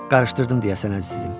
Qarışdırdım deyəsən, əzizim.